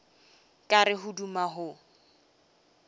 ka re o duma go